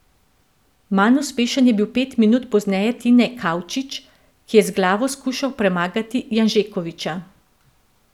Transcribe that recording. Manj uspešen je bil pet minut pozneje Tine Kavčič, ki je z glavo skušal premagati Janžekoviča.